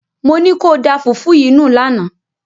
Mo ní kó o da fùfú yìí nù lánàá!